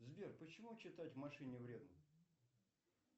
сбер почему читать в машине вредно